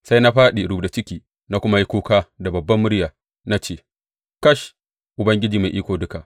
Sai na fāɗi rubda ciki na kuma yi kuka da babbar murya na ce, Kash, Ubangiji Mai Iko Duka!